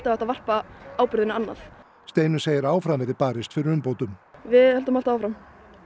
hægt að varpa ábyrgðinni annað Steinunn segir að áfram verði barist fyrir umbótum við höldum alltaf áfram